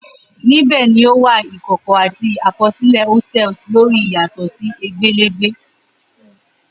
Nibẹ ni o wa ikọkọ ati àkọsílẹ hostels lori yatọ si egbelegbe